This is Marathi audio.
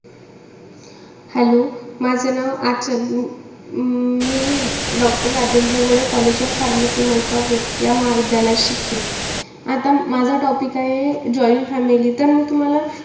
Hello माझं नाव आचल. अं मी मी doctor Rajendra Gode college of pharmacy Malkapur या महाविद्यालयात शिकते. आता माझा topic आहे joint family. तर मी तुम्हाला,